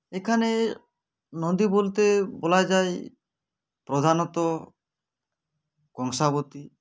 এখানে নদী বলতে বলা যায় প্রধানত কংসাবতী